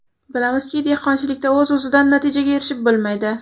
Bilamizki, dehqonchilikda o‘z-o‘zidan natijaga erishib bo‘lmaydi.